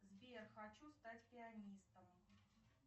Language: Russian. сбер хочу стать пианистом